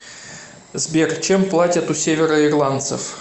сбер чем платят у североирландцев